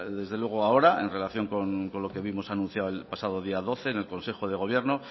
desde luego ahora en relación con lo que vimos anunciado el pasado día doce en el consejo de gobierno